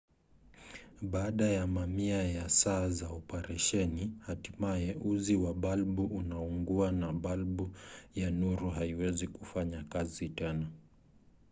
baada ya mamia ya saa za operesheni hatimaye uzi wa balbu unaungua na balbu ya nuru haiwezi kufanya kazi tena